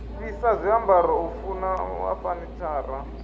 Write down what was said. fhisa zwiambaro u vunḓa fanitshara